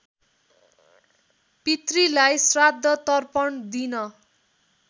पितृलाई श्राद्धतर्पण दिन